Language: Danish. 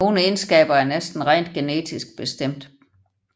Nogle egenskaber er næsten rent genetisk bestemt